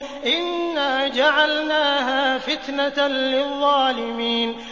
إِنَّا جَعَلْنَاهَا فِتْنَةً لِّلظَّالِمِينَ